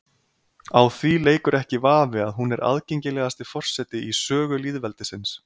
Á því leikur ekki vafi að hún er aðgengilegasti forseti í sögu lýðveldisins.